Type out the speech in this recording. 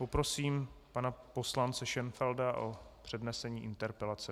Poprosím pana poslance Šenfelda o přednesení interpelace.